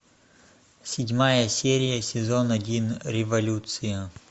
седьмая серия сезон один революция